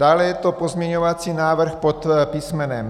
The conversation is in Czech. Dále je to pozměňovací návrh pod písm.